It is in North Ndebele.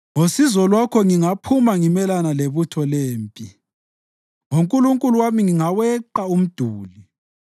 Ngosizo lwakho ngingaphuma ngimelane lebutho lempi; ngoNkulunkulu wami ngingaweqa umduli.